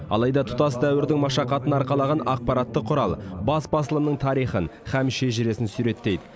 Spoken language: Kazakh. алайда тұтас дәуірдің машақатын арқалаған ақпараттық құрал бас басылымның тарихын һәм шежіресін суреттейді